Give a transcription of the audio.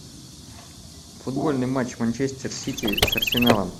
футбольный матч манчестер сити с арсеналом